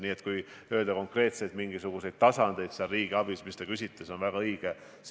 Nii et kui rääkida konkreetselt mingisugustest uutest tasanditest riigiabis, siis see on väga õige.